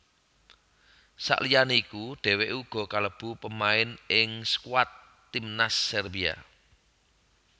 Sakliyane iku dhèwèké uga kalebu pemain ing skuad timnas Serbia